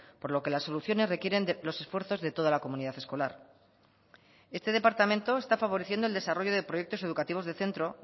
por lo que las soluciones requieren los esfuerzos de toda la comunidad escolar este departamento está favoreciendo el desarrollo de proyectos educativos de centro